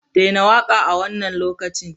Daina waƙa a wannan lokacin!